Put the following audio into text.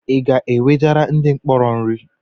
I ga-ewejere ndị mkpọrọ nri?